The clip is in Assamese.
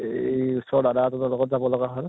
এই ওচৰৰ দাদা এজনৰ লগত যাব লগা হʼল